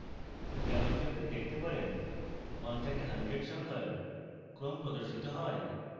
যেমনকি আপনি দেখতে পারেন 1 থেকে 100 সংখ্যার ক্রম প্রদর্শিত হয়